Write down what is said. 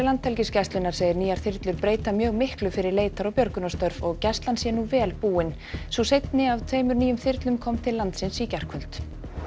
Landhelgisgæslunnar segir nýjar þyrlur breyta mjög miklu fyrir leitar og björgunarstörf og Gæslan sé nú vel búin sú seinni af tveimur nýjum þyrlum kom til landsins í gærkvöldi